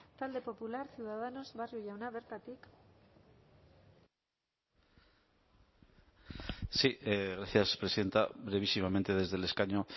talde popular ciudadanos barrio jauna bertatik sí gracias presidenta brevísimamente desde el escaño